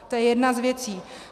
To je jedna z věcí.